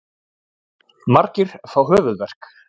Margir fá höfuðverk.